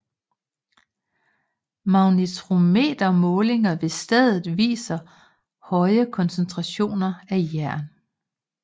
Magnetometer målinger ved stedet viser høje koncentrationer af jern